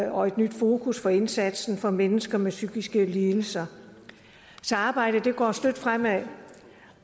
og et nyt fokus for indsatsen for mennesker med psykiske lidelser så arbejdet går støt fremad